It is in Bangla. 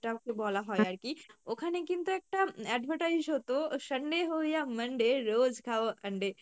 যেটাকে বলা হয় আরকি। ওখানে কিন্তু একটা advertise হত Hindi